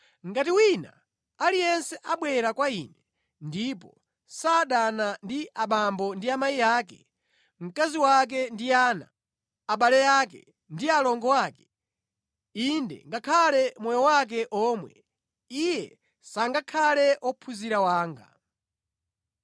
“Ngati wina aliyense abwera kwa Ine ndipo sadana ndi abambo ndi amayi ake, mkazi wake ndi ana, abale ake ndi alongo ake, inde ngakhale moyo wake omwe, iye sangakhale ophunzira wanga.